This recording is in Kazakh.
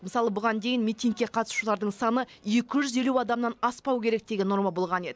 мысалы бұған дейін митингке қатысушылардың саны екі жүз елу адамнан аспау керек деген норма болған еді